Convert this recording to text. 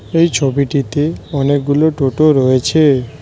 এই ছবিটিতে অনেকগুলো টোটো রয়েছে।